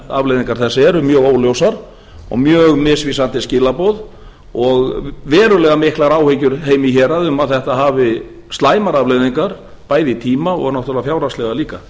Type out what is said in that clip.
afleiðingar þess eru mjög óljósar og mjög misvísandi skilaboð og verulega miklar áhyggjur af þeim í héraði um að þetta hafi slæmar afleiðingar bæði í tíma og náttúrlega fjárhagslega líka